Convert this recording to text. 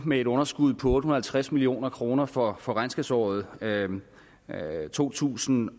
med et underskud på otte hundrede og halvtreds million kroner for for regnskabsåret to tusind